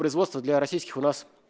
производство для российских у нас